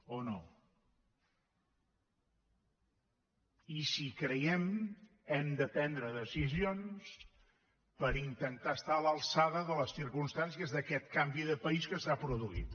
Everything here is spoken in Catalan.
o no i si hi creiem hem de prendre decisions per intentar estar a l’alçada de les circumstàncies d’aquest canvi de país que s’ha produït